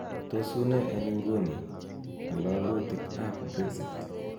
tos unee eng ingune ng'ololutik ab brexit